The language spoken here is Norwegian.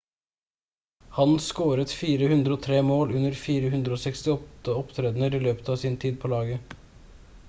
han scoret 403 mål under 468 opptredener i løpet av tiden sin på laget